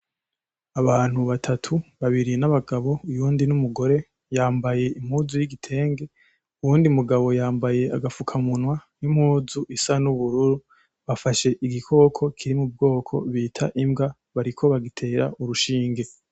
Abantu batatu, babiri n’abagabo uyundi n’umugore , bambaye impuzu y’igitenge , uwundi mugabo yambaye agafukamunwa n’impuzu isa n’ubururu bafashe igikoko kiri mu bwoko bita imbwa bariko bagitera urushinge.